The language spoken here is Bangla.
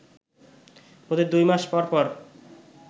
প্রতি দুই মাস পর পর